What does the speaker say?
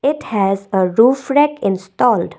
it has a roof red installed.